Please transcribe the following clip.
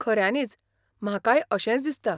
खऱ्यानीच, म्हाकाय अशेंच दिसता.